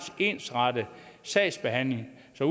ensartet sagsbehandling så